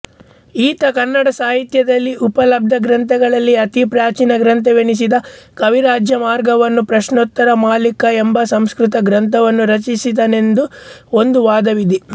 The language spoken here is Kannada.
ಈತ ಕನ್ನಡ ಸಾಹಿತ್ಯದಲ್ಲಿ ಉಪಲಬ್ಧಗ್ರಂಥಗಳಲ್ಲಿ ಅತಿ ಪ್ರಾಚೀನ ಗ್ರಂಥವೆನಿಸಿದ ಕವಿರಾಜಮಾರ್ಗವನ್ನೂ ಪ್ರಶ್ನೋತ್ತರ ಮಾಲಿಕಾ ಎಂಬ ಸಂಸ್ಕೃತಗ್ರಂಥವನ್ನೂ ರಚಿಸಿದನೆಂದು ಒಂದು ವಾದವಿದೆ